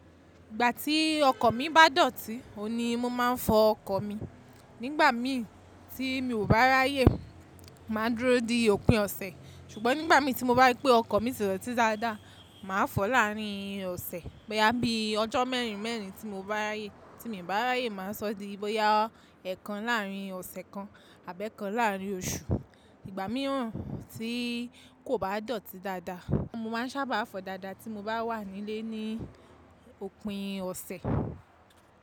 Ìgbà tí ọkọ̀ mi bá dọ̀tí, òun ni mo máa ń fọ ọkọ̀ mi. Nígbà mi tí mi ò bá ráyè, má a dúró di òpin ọ̀sẹ̀. Ṣùgbọ́n nígbà mi tí mo bá rí pé ọkọ̀ mi ti dọ́tí dáadáa, mà á fọ láàárín ọ̀sẹ̀. Bóyá bí ọjọ́ mẹ́rin mẹ́rin tí mo bá ráyè, tí miì bá ráyè má a sọ di bóyá ẹ̀kan láàrín ọ̀sẹ̀ kan àbẹ́kan láàrín oṣù. Ìgbà mìíràn tí kò bá dọ̀tí dáadáa, mo máa ń sábà fọ dáadáa tí mo bá wà nílé ní òpin ọ̀sẹ̀.